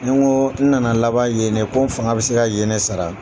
Ni nko n nana laban ye de ko n fanga bɛ se ka yen de sara.